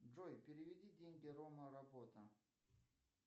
джой переведи деньги рома работа